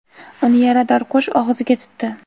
uni yarador qush og‘ziga tutdi.